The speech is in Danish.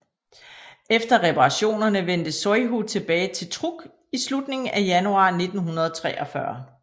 Efter reparationerne vendte Zuihō tilbage til Truk i slutningen af januar 1943